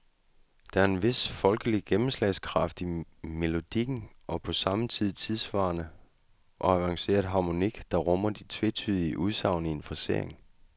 Der er en vis folkelig gennemslagskraft i melodikken og på samme tid en tidssvarende og avanceret harmonik, der rummer de tvetydige udsagn i en frasering.